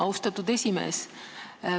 Austatud esimees!